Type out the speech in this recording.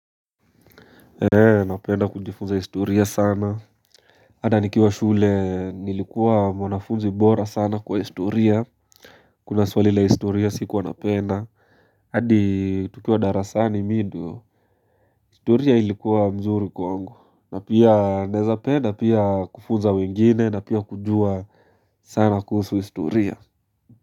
Napenda kujifunza historia sana Hata nikiwa shule nilikuwa mwanafunzi bora sana kwa historia Kuna swali la historia sikuwa napenda hadi tukiwa darasani mi ndio historia ilikuwa mzuri kwangu na pia naeza penda pia kufunza wengine na pia kujua sana kuhusu historia.